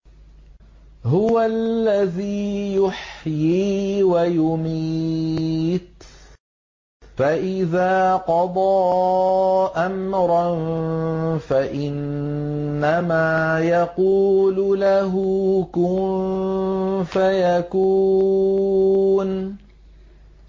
هُوَ الَّذِي يُحْيِي وَيُمِيتُ ۖ فَإِذَا قَضَىٰ أَمْرًا فَإِنَّمَا يَقُولُ لَهُ كُن فَيَكُونُ